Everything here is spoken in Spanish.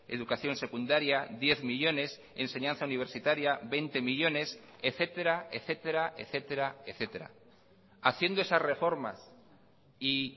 educación secundaria diez millónes enseñanza universitaria veinte millónes etcétera etcétera etcétera etcétera haciendo esas reformas y